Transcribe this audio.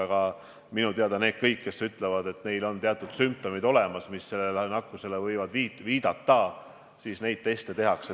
Aga minu teada kõigile, kes ütlevad, et neil on sümptomid, mis sellele nakkusele viitavad, teste tehakse.